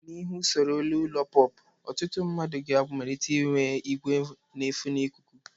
N'ihi usoro elu ụlọ POP, ọtụtụ ndị mmadụ ga amalitee inwe igwe nefe ikuku.